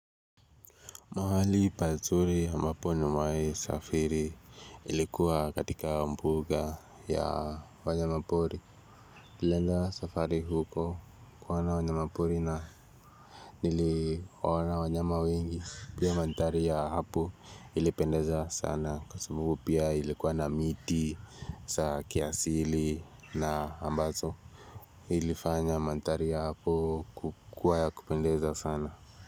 Mahali pazuri ambapo nimewai safiri ilikuwa katika mbuga ya wanyamapori nilienda safari huko kuona wanyamapori na niliwaona wanyama wengi Pia mandhari ya hapo ilipendeza sana kwa sababu pia ilikuwa na miti, za kiasili na ambazo ilifanya mandhari ya hapo kuwa ya kupendeza sana.